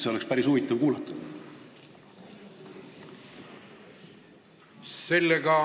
Seda oleks päris huvitav kuulata olnud.